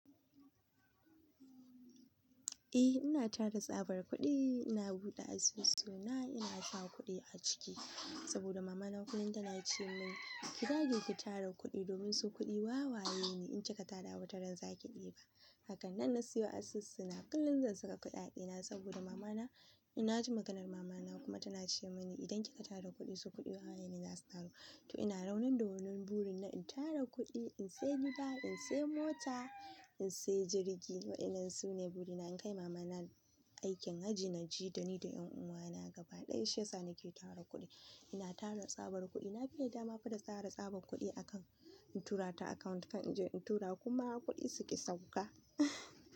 Eh ina tara tsabar kuɗi, ina buɗe asusu na, ina saka kuɗi a ciki saboda mamana kullum tana ce mini ki dage ki tara kuɗi domin su kuɗi wawaye ne in kika tara wataran zaki ɗiba. Hakanan na siyo asusu na, kullum zan saka kuɗi a ɗina saboda mamana ina ji maganar mamana kuma tana ce mini idan kika tara kuɗi su kuɗi wawaye ne za su taru. To ina raunin da wannan burin na in tara kuɗi, in sayi gida, in sayi mota, in sayi jirgi. Waɗannan su ne burina in kai mamana aikin hajji, naje da ni da ƴan uwana gaba ɗaya sha sa ni ke tara kuɗi. Ina tara tsabar kuɗi, na biya dama fa da tara tsabar kuɗi a kan in tura ta account kan in tura kuma kuɗi suƙi sauka.